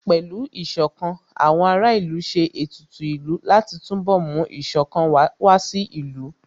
Pẹ̀lú Ìṣọ̀kan, àwọn ará ìlú ṣe ètùtù ìlú láti túnbọ̀ mú Ìṣọ̀kan wá sí ìlú